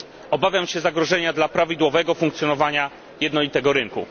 Obawiam się zagrożenia dla prawidłowego funkcjonowania jednolitego rynku.